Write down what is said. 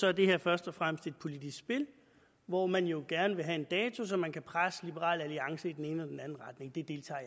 er det her først og fremmest et politisk spil hvor man jo gerne vil have en dato så man kan presse liberal alliance i den ene eller den anden retning det deltager